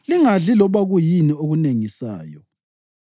Lingadli loba kuyini okunengisayo.